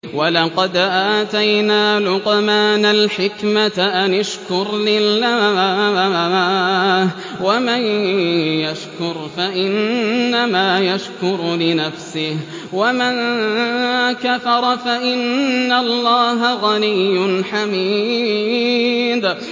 وَلَقَدْ آتَيْنَا لُقْمَانَ الْحِكْمَةَ أَنِ اشْكُرْ لِلَّهِ ۚ وَمَن يَشْكُرْ فَإِنَّمَا يَشْكُرُ لِنَفْسِهِ ۖ وَمَن كَفَرَ فَإِنَّ اللَّهَ غَنِيٌّ حَمِيدٌ